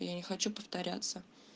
я не хочу повторяться